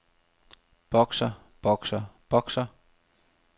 bokser bokser bokser